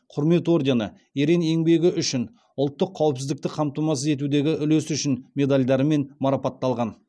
құрмет ордені ерен еңбегі үшін ұлттық қауіпсіздікті қамтамасыз етудегі үлесі үшін медальдарымен марапатталған